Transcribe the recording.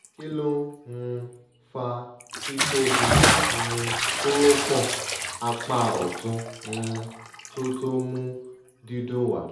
kilo n um faa ti tobi um koropon apa otun um to to mu didun wa